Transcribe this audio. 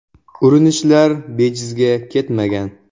Urinishlar bejizga ketmagan.